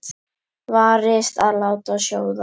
Varist að láta sjóða.